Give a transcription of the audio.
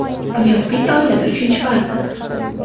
Bunyodbek oilada uchinchi farzand.